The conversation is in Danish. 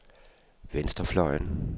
venstrefløjen